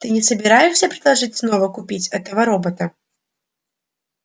ты не собираешься предложить снова купить этого робота